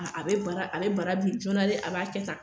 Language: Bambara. A bɛ bara a bɛ bara bi jɔɔnan dɛ a b'a kɛ tan.